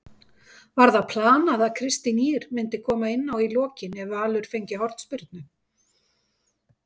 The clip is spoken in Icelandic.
Var það planað að Kristín Ýr myndi koma inná í lokin ef Valur fengi hornspyrnu?